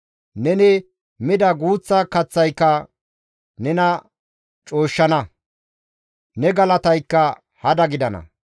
Neni mida guuththa kaththayka nena cooshshana; ne galataykka hada gidana.